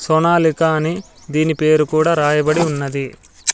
సోనాలిక అని దీని పేరు కూడా రాయబడి ఉన్నది.